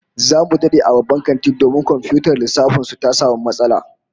Zamu dade a bban kantin domin komfiyutar lissafin su ta samu matsala